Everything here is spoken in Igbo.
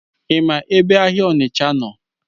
Ima ebe ahịa Onitsha nọ?